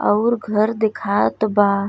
अउर घर दिखात बा।